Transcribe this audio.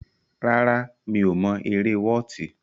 Rárá, mi ò mọ eré wọ́ọ̀tì.